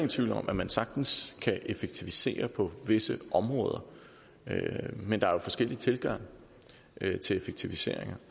tvivl om at man sagtens kan effektivisere på visse områder men der er forskellige tilgange til effektiviseringer